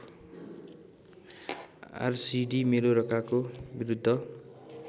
RCD मेलोरकाको बिरूद्ध